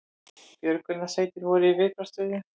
Björgunarsveitir voru í viðbragðsstöðu